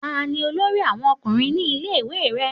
Ta ni olórí àwọn ọkùnrin ní ilé ìwé rẹ?